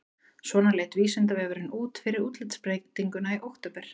Svona leit Vísindavefurinn út fyrir útlitsbreytinguna í október.